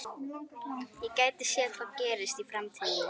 Ég gæti séð hvað gerist í framtíðinni.